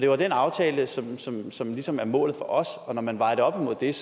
var den aftale som ligesom som ligesom var målet for os og når man vejer det op imod det er